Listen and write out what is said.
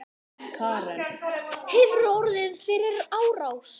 Karen: Hefurðu orðið fyrir árás?